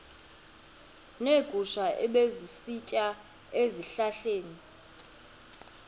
neegusha ebezisitya ezihlahleni